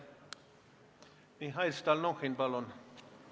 Mihhail Stalnuhhin, palun!